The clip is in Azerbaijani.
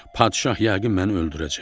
Padişah yəqin məni öldürəcək.